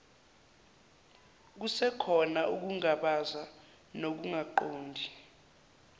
kusekhona ukungabaza nokungaqondi